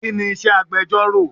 Kini iṣẹ́ agbẹjoro?